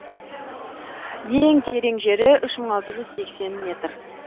ең терең жері үш мың алты жүз сексен метр